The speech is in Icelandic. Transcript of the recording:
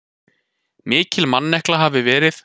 Mikil mannekla hafi verið.